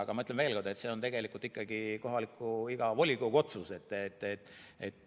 Aga ma ütlen veel kord, et see on tegelikult ikkagi iga kohaliku volikogu otsus.